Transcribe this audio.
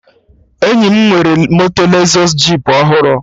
Enyi m nwere moto Lezọs jip ọhụrụ